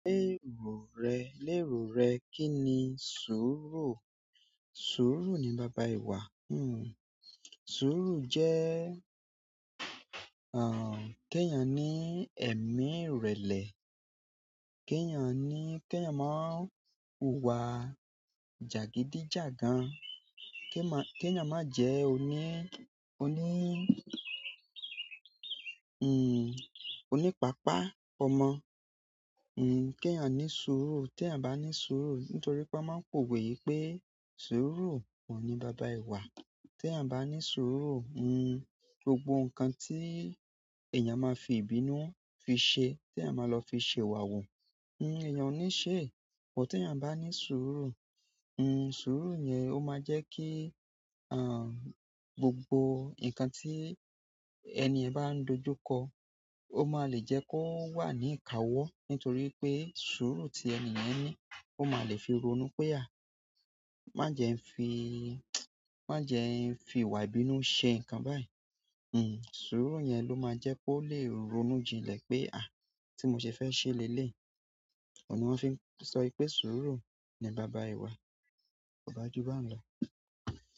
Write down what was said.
Lérò rẹ, lérò rẹ, kí ni sùúrù? Sùúrù ni baba ìwà. Sùúrù jẹ́, kí ẹ̀yàn ní ẹ̀mí ìrẹ̀lẹ̀, kí ẹ̀yàn ní, kí ẹ̀yàn má wùwà jàgídíjàgan, kí ẹ̀yàn má jẹ́ oní, oní, oní pàápàá ọmọ. Hmm, kí ẹ̀yàn ní sùúrù. Ti eyan ba ni suuru nítorí won maa n powe yi pe suuru ohun ni baba ìwà. Tí ẹ̀yàn bá ní sùúrù, gbogbo nǹkan tí èèyàn máa fi ìbínú fi ṣe, tí eyan máa lọ fi ṣe ìwà wu, èèyàn ò ní ṣe. Ti ẹ̀yàn bá ní sùúrù, sùúrù yẹn ó máa jẹ́ kí, gbogbo nǹkan tí ẹniyen bá ń dojúkọ ó máa le jẹ́ kó wà ní ìkáwọ́. Nítorí pé sùúrù tí ẹni yẹn ní ó máa le fi rònú pé, à, má jẹ n fi, má jẹ n fi ìwà ìbínú ṣe nǹkan báyìí. Sùúrù yẹn ló máa jẹ́ kó lè ronú jinlẹ̀ pé, tí mo ṣe fẹ́ ṣe léleyi ohun ni won fi n so pe suuru ni baba ìwà, koba ju ba n lo.